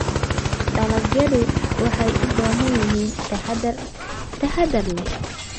Dalagyadu waxay u baahan yihiin taxadar taxaddar leh.